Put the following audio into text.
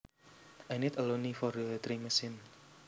I need a loonie for the drink machine